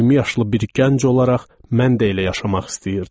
20 yaşlı bir gənc olaraq mən də elə yaşamaq istəyirdim.